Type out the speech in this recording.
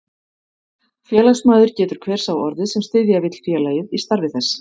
Félagsmaður getur hver sá orðið, sem styðja vill félagið í starfi þess.